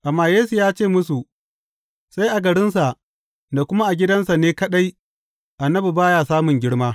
Amma Yesu ya ce musu, Sai a garinsa da kuma a gidansa na kaɗai annabi ba ya samun girma.